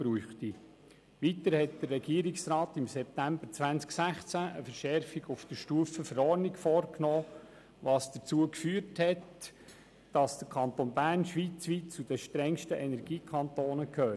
Weiter nahm der Regierungsrat im September 2016 eine Verschärfung auf Stufe Verordnung vor, was dazu geführt hat, dass der Kanton Bern schweizweit zu den strengsten Energiekantonen gehört.